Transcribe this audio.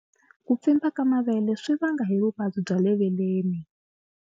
Ku pfimba ka mavele swi vanga hi vuvabyi bya le veleni.